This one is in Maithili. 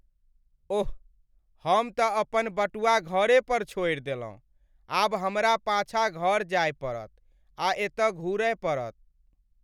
ओह, हम तँ अपन बटुआ घरे पर छोड़ि देलहुँ। आब हमरा पाछाँ घर जाय पड़त आ एतऽ घुरय पड़त।